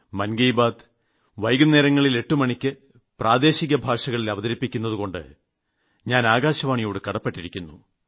മൻ കി ബാത് വൈകുന്നേരങ്ങളിൽ 8 മണിയ്ക്ക് പ്രാദേശികഭാഷകളിൽ അവതരിപ്പിക്കുന്നതുകൊണ്ട് ഞാൻ ആകാശവാണിയോട് കടപ്പെട്ടിരിക്കുന്നു